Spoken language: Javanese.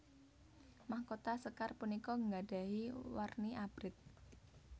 Mahkota sékar punika gadahi warni Abrit